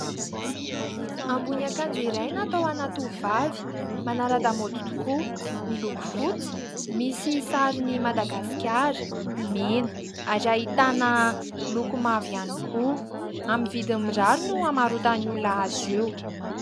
Ambony akanjo iray natao ho an'ny tovovavy manara-damaody tokoa. Miloko fotsy, misy sarin'ny Madagasikara mena, ary ahitana loko mavo ihany koa. Amin'ny vidiny mirary no hamarotan'ny olona azy io.